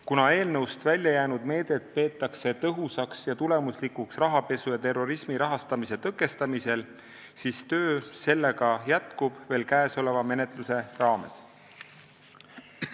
Kuna eelnõust väljajäänud meedet peetakse tõhusaks ja tulemuslikuks rahapesu ja terrorismi rahastamise tõkestamisel, siis töö sellega jätkub veel käesoleva menetluse raames.